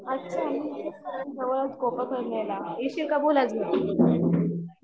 अच्छा मी इथेच जवळच ला, येशील का बोल अजून